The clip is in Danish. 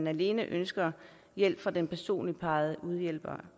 alene ønsker hjælp fra den personligt udpegede hjælper